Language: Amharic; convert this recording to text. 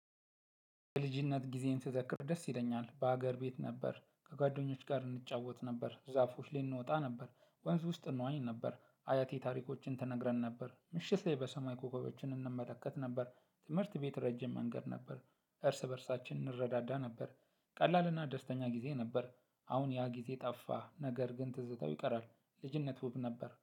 በልጅነት ጊዜን ስዘክር ደስ ይለኛል። በሀገር ቤት ነበር ከጓደኞች ጋር እንጫወት ነበር ዛፎች ላይ እንወጣ ነበር። ወንዝ ውስጥ እንዋኝ ነበር። አያቴ ታሪኮችን ትነግረን ነበር። ምሽት ላይ በሰማይ ኮከቦችን እንመለከት ነበር። ትምህርት ቤት ረጅም መንገድ ነበር። እርስ በእርሳችን እንረዳዳ ነበር። ቀላልና ደስተኛ ጊዜ ነበር። አሁን ያ ጊዜ ጠፋ ነገር ግን ትዝታው ይቀራል። ልጅነት ውብ ነበር